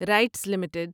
rights limited